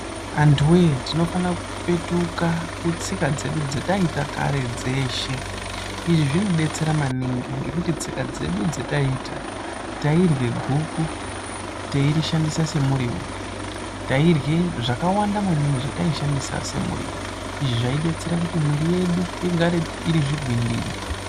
Antu weee tinofana kupetuka kutsika dzedu dzataiita kare dzeshe izvi zvinodetsera maningi ngekuti tsika dzedu dzataiita tairye guku teirishandisa semuriwo tairye zvakawanda maningi zvataishandisa semuriwo izvi Zvaidetsera kuti mwiri yedu igare iri zvigwindiri.